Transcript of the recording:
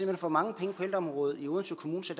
hen for mange penge på ældreområdet i odense kommune så